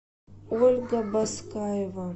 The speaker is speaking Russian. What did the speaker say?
ольга баскаева